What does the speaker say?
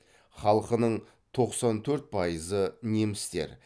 халқының тоқсан төрт пайызы немістер